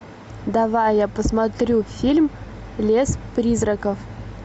давай я посмотрю фильм лес призраков